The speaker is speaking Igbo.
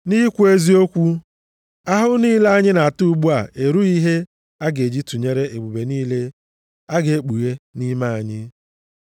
Nʼikwu eziokwu, ahụhụ niile anyị na-ata ugbu a erughị ihe a ga-eji tụnyere ebube niile a ga-ekpughe nʼime anyị.